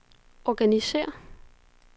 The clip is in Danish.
organisér